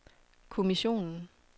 kommissionen